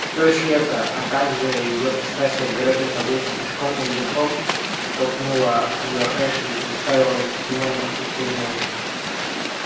что если это а также её пристрастие к далёкие прогулкам пешком или верхом оттолкнуло от неё эшли и заставило обратить внимание на хрупкую мелани